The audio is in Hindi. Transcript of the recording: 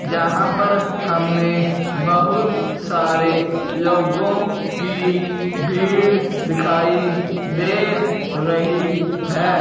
जहां पर हमें बहुत सारे लोगों की भीड़ दिखाई दे रही है।